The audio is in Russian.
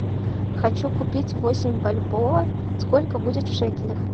хочу купить восемь бальбоа сколько будет в шекелях